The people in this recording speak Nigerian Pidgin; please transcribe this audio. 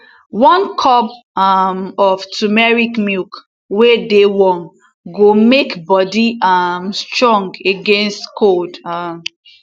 one cup um of turmeric milk wey dey warm go make body um strong against cold um